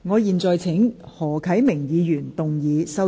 我現在請何啟明議員動議修正案。